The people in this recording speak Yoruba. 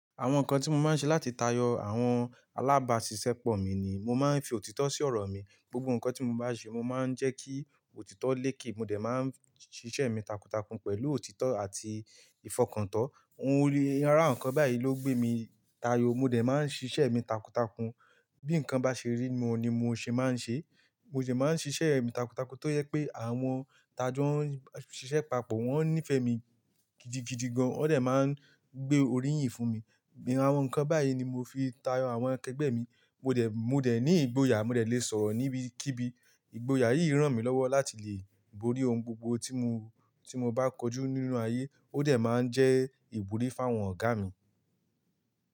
Àwọn nǹkan tí mo máa ń ṣe láti tayọ àwọn alábàásisẹ́pọ̀ mi ni, mo máa ń fi òtítọ́ sí ọ̀rọ̀ mi. Gbogbo nǹkan tí mo bá ṣe, mo máa ń jẹ́ kí òtítọ́ léèké, mo dẹ̀ máa ń ṣíṣe mi takuntakun pẹ̀lú òtítọ́ àti ìfọkàntán. Ohun ori ara nǹkan báyìí ló gbé mi tayọ. Mo dẹ̀ máa ń ṣíṣe èmi takuntakun. Bí nǹkan bá ṣe rí, mo ni mo ṣe máa ń ṣe. Mo dẹ̀ máa ń ṣíṣe èmi takuntakun tó yẹ pé àwọn tàá jẹ́ ó ń ṣiṣẹ́ papọ̀, wọ́n ó nífẹ̀ẹ́ mi gidigidi gan. Wọ́n dẹ̀ máa ń gbé orí yìn fún mi. Irú àwọn nǹkan báyìí ni mo fi tayọ àwọn a kegbẹ́ mi. Mo dẹ̀, mo dẹ̀ ní ìgboyà, mo dẹ̀ lè sọ̀rọ̀ níbi kíbi. Ìgboyà yìí ràn mí lọ́wọ́ láti lè borí ohun gbogbo tí mo, tí mo bá kojú nínú ayé. Ó dẹ̀ máa ń jẹ́ ìbòrí fún àwọn ọ̀gá mi.